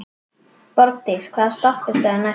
Borgdís, hvaða stoppistöð er næst mér?